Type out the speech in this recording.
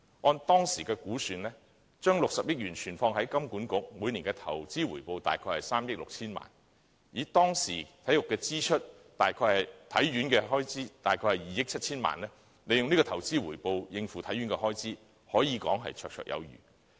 按當時的估算，將60億元存放於香港金融管理局，每年的投資回報約為3億 6,000 萬元；當時體院的開支約為2億 7,000 萬元，利用這投資回報應付體院的開支，可說是綽綽有餘。